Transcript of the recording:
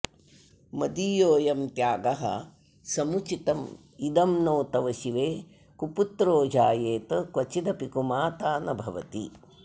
मदीयोऽयं त्यागः समुचितमिदं नो तव शिवे कुपुत्रो जायेत क्वचिदपि कुमाता न भवति